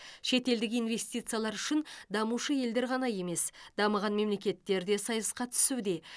шетелдік инвестициялар үшін дамушы елдер ғана емес дамыған мемлекеттер де сайысқа түсуде